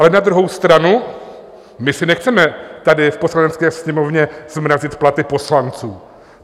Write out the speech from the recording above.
Ale na druhou stranu my si nechceme tady v Poslanecké sněmovně zmrazit platy poslanců.